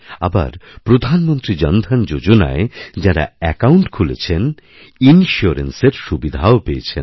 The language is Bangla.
আবার প্রধানমন্ত্রী জন ধন যোজনায় যাঁরা অ্যাকাউণ্ট খুলেছেনইন্সিওরেন্সের সুবিধাও পেয়েছেন